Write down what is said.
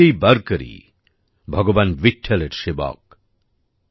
প্রত্যেকেই বারকারি ভারকারি ভগবান বিঠঠলের সেবক